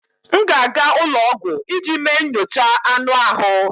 M ga-aga ụlọ ọgwụ iji mee nyocha anụ ahụ